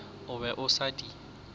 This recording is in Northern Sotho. o be a sa di